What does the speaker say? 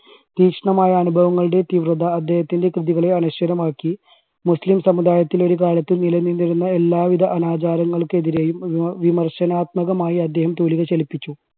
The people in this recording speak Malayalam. തീഷ്ണമായ അനുഭവങ്ങളുടെ തീവ്രത അദ്ദേഹത്തിൻറെ കൃതികളെ അനശ്വരമാക്കി മുസ്ലിം സമുദായത്തിൽ ഒരുകാലത്ത് നിലനിന്നിരുന്ന എല്ലാ വിധ അനാചാരങ്ങൾക്കെതിരെയും വി~വിമർശനാത്മകമായി അദ്ദേഹം തൂലിക ചലിപ്പിച്ചു.